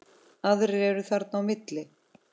Aðrir eru þarna á milli.